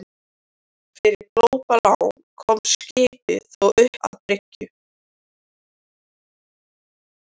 Fyrir glópalán komst skipið þó upp að bryggju.